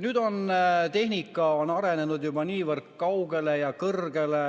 Nüüd on tehnika arenenud juba niivõrd kaugele ja kõrgele,